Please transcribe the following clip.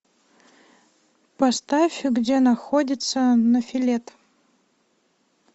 поставь где находится нофелет